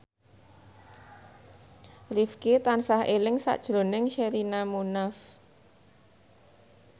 Rifqi tansah eling sakjroning Sherina Munaf